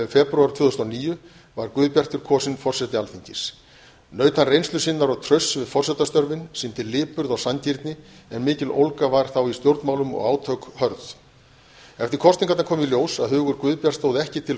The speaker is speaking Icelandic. febrúar tvö þúsund og níu var guðbjartur kosinn forseti alþingis naut hann reynslu sinnar og trausts við forsetastörfin sýndi lipurð og sanngirni en mikil ólga var þá í stjórnmálum og átök hörð eftir kosningarnar kom í ljós að hugur guðbjarts stóð ekki til